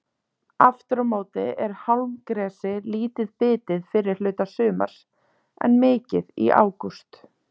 Aftur á móti er hálmgresi lítið bitið fyrri hluta sumars en mikið í ágúst.